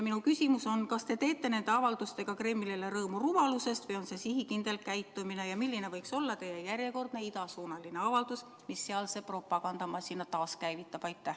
Minu küsimus on järgmine: kas te teete nende avaldustega Kremlile rõõmu rumalusest või on see sihikindel käitumine ja milline võiks olla teie järjekordne idasuunaline avaldus, mis sealse propagandamasina käivitab?